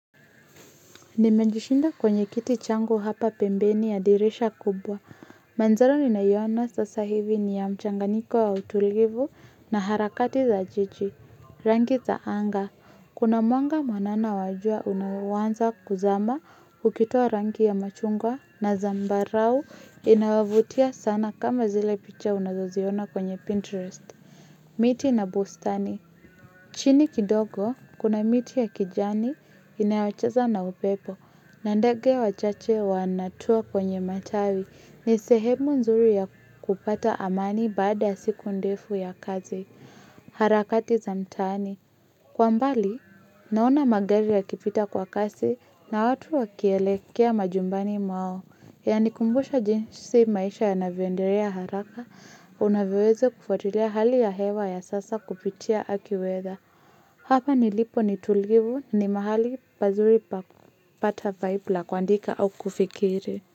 Nimejishindia kwenye kiti changu hapa pembeni ya dirisha kubwa. Mandhari naiona sasa hivi ni ya mchanganiko wa utulivu na harakati za jiji. Rangi za anga. Kuna mwanga mwanana wajua unaoanza kuzama ukitoa rangi ya machungwa na zambarau inawavutia sana kama zile picha unazaziona kwenye Pinterest. Miti na bustani. Chini kidogo, kuna miti ya kijani inayocheza na upepo. Nandege wachache wanatua kwenye matawi. Nisehemu nzuri ya kupata amani baada ya siku ndefu ya kazi. Harakati za mtaani. Kwambali naona magari ya kipita kwa kasi na watu wakielekea majumbani mwao. Yani kumbusha jinsi maisha ya navyoendelea haraka. Unavyowezo kufatilia hali ya hewa ya sasa kupitia akiweza. Hapa nilipo ni tulivu ni mahali pazuri pakupata vibela kuandika au kufikiri.